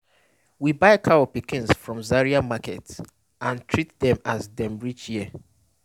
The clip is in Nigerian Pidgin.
we buy cow pikins from zaria market and treat dem as dem reach here